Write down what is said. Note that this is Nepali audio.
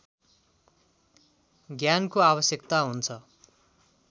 ज्ञानको आवश्यकता हुन्छ